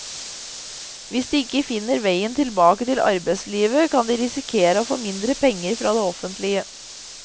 Hvis de ikke finner veien tilbake til arbeidslivet, kan de risikere å få mindre penger fra det offentlige.